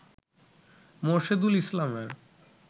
মোরশেদুল ইসলামের